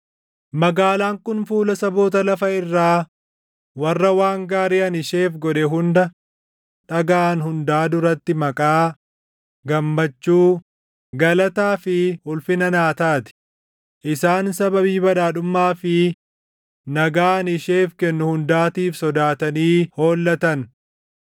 Magaalaan kun fuula saboota lafa irraa warra waan gaarii ani isheef godhe hunda dhagaʼan hundaa duratti maqaa, gammachuu, galataa fi ulfina naa taati; isaan sababii badhaadhummaa fi nagaa ani isheef kennu hundaatiif sodaatanii hollatan.’